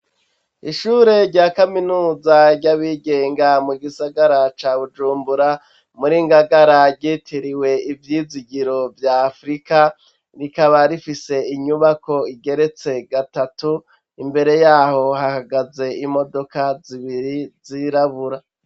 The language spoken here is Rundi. Ishure rya kaminuza ryabigenga mu gisagara ca bujumbura muri Ngagara gitiriwe ivyizigiro bya afurika rikaba rifise inyubako igeretse gatatu imbere yaho hahagaze imodoka zibiri zirabura.